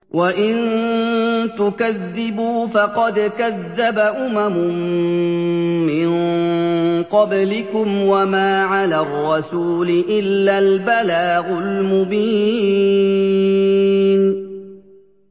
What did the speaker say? وَإِن تُكَذِّبُوا فَقَدْ كَذَّبَ أُمَمٌ مِّن قَبْلِكُمْ ۖ وَمَا عَلَى الرَّسُولِ إِلَّا الْبَلَاغُ الْمُبِينُ